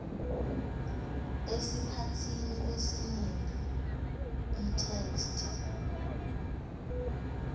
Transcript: esikhatsini lesinyenti itheksthi